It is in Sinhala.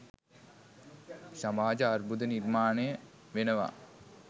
සමාජ අර්බුද නිර්මාණය වෙනවා.